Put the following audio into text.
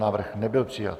Návrh nebyl přijat.